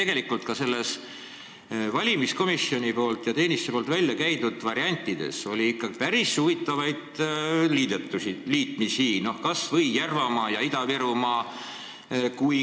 Tegelikult oli ka nendes valimiskomisjoni ja -teenistuse väljakäidud variantides ikkagi ette nähtud päris huvitavaid liitmisi, kas või Järvamaa ja Ida-Virumaa.